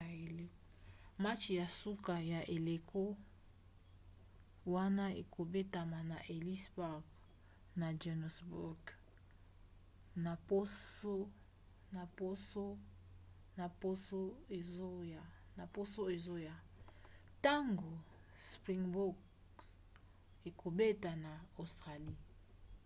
match ya suka ya eleko wana ekobetama na ellis park na johannesburg na poso ezoya ntango springboks ekobeta na australie